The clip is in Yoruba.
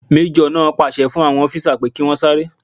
Majo naa pàṣẹ fún àwọn ọfisa pé kí wọ́n sáré